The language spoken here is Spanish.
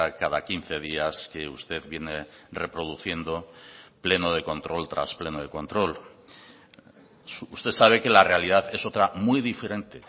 cada quince días que usted viene reproduciendo pleno de control tras pleno de control usted sabe que la realidad es otra muy diferente